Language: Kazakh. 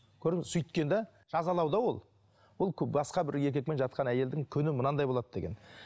сөйткен де жазалау да ол ол басқа бір еркекпен жатқан әйелдің күні мынандай болады деген